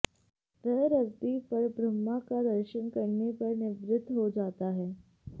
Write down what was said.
वह रस भी परब्रह्म का दर्शन करने पर निवृत्त हो जाता है